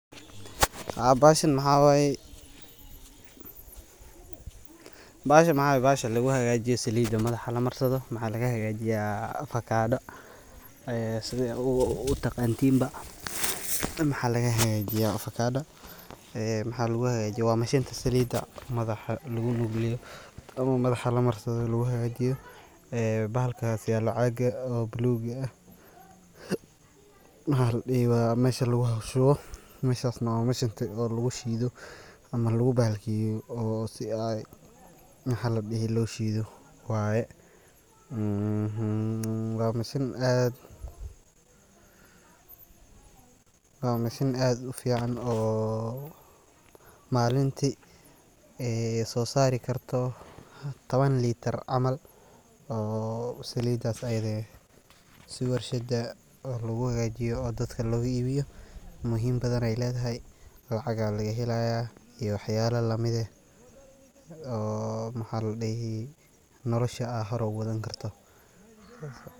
Haa bahaashan maxa waaye bahaashan maxa waaye bahaasha laguu hagajiiyo salidaa madaaxa laamarsado. maxa lagaa hagaajiya afakadaa ee sidaa aa uu taqantiinba maxa lagaa hagaajiya afakaada ee maxa laguu hagajiiya waa mashiinta salida madaaxa luguu nugleeyo ama madaaxa laa maarsado laguu hagaajiyo ee bahalkaas yaalo ee caaga oo buluuga aah maxa laa dihii waa meshaa laguu shuuwo meshaas na waa meshaa oo laguu shiido ama laguu bahalkiyeeyo oo sii aay maxa laa dihii loo shiido waaye. eheeeee waa machine aad waa machine aad fican oo maalinti ee soo sarii karto toban litaar camal oo saliidas ayadaa eeh sii warshaada oo loguu hagaajiyo oo dadkaa logaa ibiiyo muhiim badaneey ledahay lacagaa lagaa helaaya iyo waxyala lamiid eeh oo maxa laa dihi nolaasha aa hor ogu wadaan kaarto.